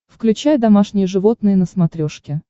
включай домашние животные на смотрешке